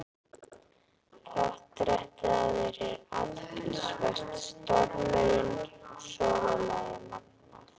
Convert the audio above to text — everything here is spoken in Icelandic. Portrettið af þér er athyglisvert- stormurinn og sólarlagið magnað.